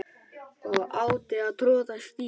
og átti að troða strý